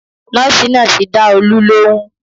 Nọ́ọ̀sì náà ti dá Olú lóhùn